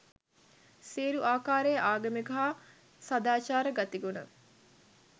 සියලු ආකාරයේ ආගමික හා සදාචාර ගති ගුණ